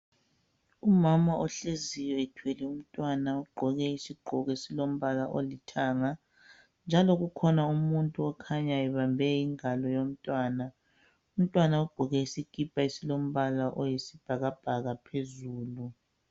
Umama ohleziyo ethwele umntwana ogqoke isigqoko esilombala olithanga njalo kukhona umuntu okhanya ebambe ingalo yomntwana umntwana ogqoke isikipa esilombala oyisibhakabhaka phezulu.